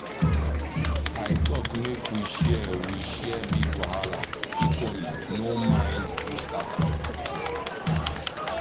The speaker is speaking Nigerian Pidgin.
i talk make we share we share big wahala equally no mind who start am.